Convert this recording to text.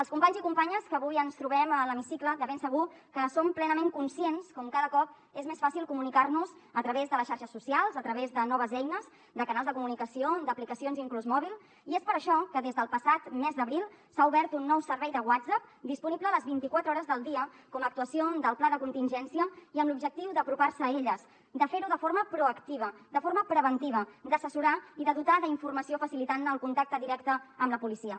els companys i companyes que avui ens trobem a l’hemicicle de ben segur que som plenament conscients com cada cop és més fàcil comunicar nos a través de les xarxes socials a través de noves eines de canals de comunicació d’aplicacions inclús mòbils i és per això que des del passat mes d’abril s’ha obert un nou servei de whatsapp disponible les vint i quatre hores del dia com a actuació del pla de contingència i amb l’objectiu d’apropar se a elles i de fer ho de forma proactiva de forma preventiva d’assessorar i de dotar d’informació facilitant el contacte directe amb la policia